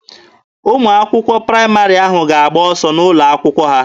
Ụmụ akwụkwọ praịmarị ahụ ga-agba ọsọ n'ụlọ akwụkwọ ha.